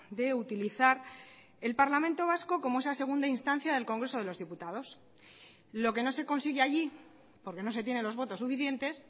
de utilizar el parlamento vasco como esa segunda instancia del congreso de los diputados lo que no se consigue allí porque no se tienen los votos suficientes